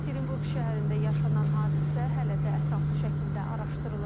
Yekaterinburq şəhərində yaşanan hadisə hələ də ətraflı şəkildə araşdırılır.